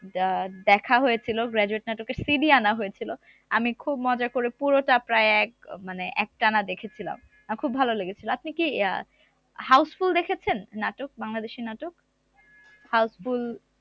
যা দেখা হয়েছিল graduate নাটকের CD আনা হয়েছিল আমি খুব মজা করে পুরোটা প্রায় এক আহ মানে একটানা দেখেছিলাম আমার খুব ভালো লেগেছিলো আপনি কি আহ houseful দেখেছেন নাটক বাংলাদেশী নাটক housefull